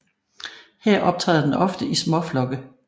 Her optræder den ofte i småflokke